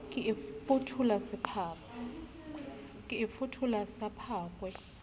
ke e fuphula sa phakwe